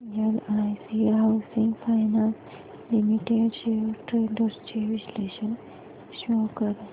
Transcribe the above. LIC housing finance limited shares trends चे विश्लेषण show कर